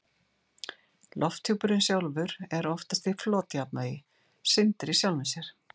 Lofthjúpurinn sjálfur er oftast í flotjafnvægi, syndir í sjálfum sér.